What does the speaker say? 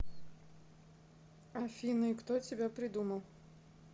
афина и кто тебя придумал